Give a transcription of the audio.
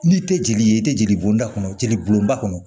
N'i tɛ jeli ye i tɛ jeliboda kɔnɔ jeli bɔn ba kɔnɔ